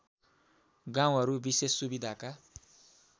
गाउँहरू विशेष सुविधाका